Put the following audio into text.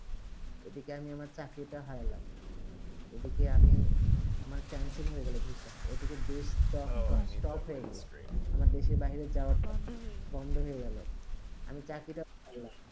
এদিকে আমি আমার চাকরি তা হারালাম এদিকে আমি আমার cancel হয়ে গেলো ভিসা এই দিকে দেশ হয়ে stop হয়ে গেলো আমার দেশে বাইরে যাওবা বন্ড বন্ড হয়ে গেলো আমি চাকরি তা